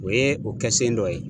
O ye o kɛ sen dɔ ye.